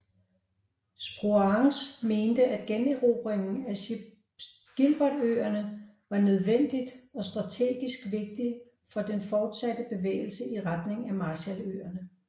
Spruance mente at generobringen af Gilbertøerne var nødvendigt og strategisk vigtig for den fortsatte bevægelse i retning Marshalløerne